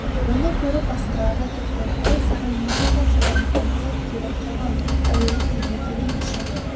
оны көріп басқалар да тоқтады әй саған не болған саданбай ұмтылып келіп қалған әуелі тілге келейікші